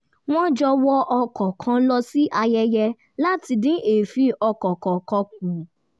wọ́n jọ wọ ọkọ̀ kan lọ sí ayẹyẹ láti dín èéfín ọkọ̀ kọọkan kù